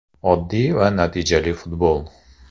Oddiy va natijali futbol.